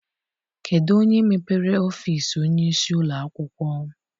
Kedụ onye mepere ọfịịsi onyeisi ụlọakwụkwọ?